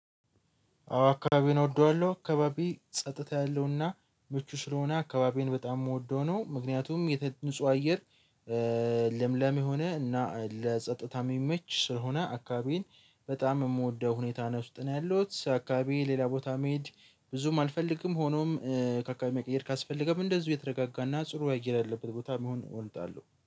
አዎ አካባቢውን እወደዋለሁ አካባቢ ጸጥታ ያለውና ምቹ ስለሆነ አካባቢውዬን በጣም የምወደው ነው። ምክንያቱም የተ ንጹህ አየር ለምለም የሆነ እና ለጸጥታ የሚመች ስለሆነ አካባቢን በጣም የምወደው ሁኔታ ነው። ውስጥ ነው ያለው አካባቢ ሌላ ቦታ መሄድ ብዙም አልፈልግም። ሆኖም ከአካባቢ መቀየር ካስፈለገው እንደዚሁ የተረጋጋና ጥሩ አየር ያለበት ቦታ ቢሆን እወዳለሁ